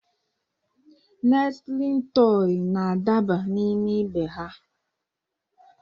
Nestịlin tọị na-adaba n'ime ibe ha.